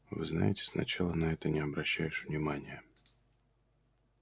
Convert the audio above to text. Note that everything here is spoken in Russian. вы знаете сначала на это не обращаешь внимания